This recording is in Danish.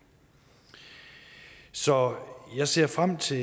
så jeg ser frem til